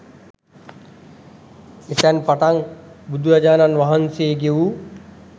එතැන් පටන් බුදුරජාණන් වහන්සේ ගෙවූ